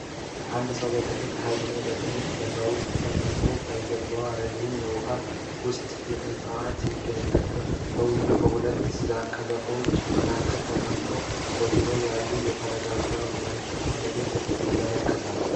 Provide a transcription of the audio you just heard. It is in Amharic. አንድ ሰው በትልቅ ሐይቅ ላይ በትንሽ ጀልባ ውስጥ ተቀምጧል። ከበስተጀርባው ረዥም የውሃ ውስጥ እፅዋት ይገኛሉ። ሰውየው በሁለቱ ቀዛፊዎች መካከል ተቀምጦ፣ በዙሪያው ያለውን የተረጋጋ መልክዓ ምድር ይመለከታል።